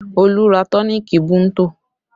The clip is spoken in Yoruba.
Olu ra tọ́nììkì Bunto